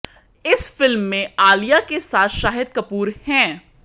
इस फिल्म में आलिया के साथ शाहिद कपूर हैं